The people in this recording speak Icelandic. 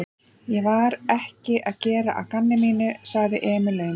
Ég var ekki að gera að gamni mínu, sagði Emil aumur.